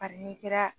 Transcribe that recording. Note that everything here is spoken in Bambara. Ali n'i kɛra